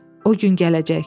O gün gələcək.